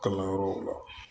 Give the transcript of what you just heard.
Kalanyɔrɔw la